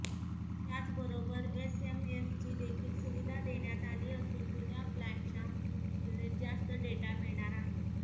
त्याचबरोबर एसएमएसची देखील सुविधा देण्यात आली असून जुन्या प्लॅनच्या तुलनेत जास्त डेटा मिळणार आहे